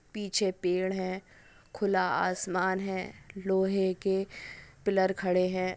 पीछे पेड़ है खुला आसमान है लोहे के पिलर खड़े है|